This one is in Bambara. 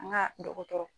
An ka dɔgɔtɔrɔ